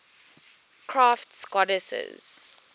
crafts goddesses